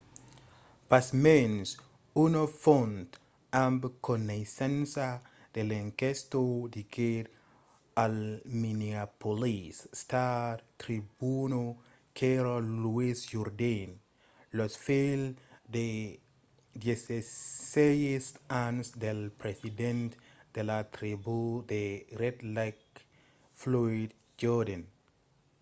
pasmens una font amb coneissença de l'enquèsta diguèt al minneapolis star-tribuna qu'èra louis jourdain lo filh de 16 ans del president de la tribú de red lake floyd jourdain